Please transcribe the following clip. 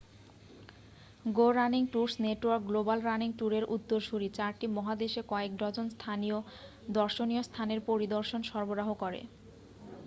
গো running tours network global running ট্যুরের উত্তরসূরি চারটি মহাদেশে কয়েক ডজন দর্শনীয়স্থানের পরিদর্শন সরাবরাহ করে